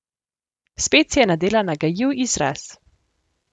Spet si je nadela nagajiv izraz.